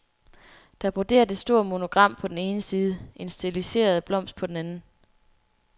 Der er broderet et stort monogram på den ene side, en stiliseret blomst på den anden.